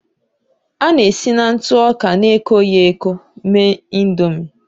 A na-esi na ntụ ọka na-ekoghị eko mee Ị̀ndómị́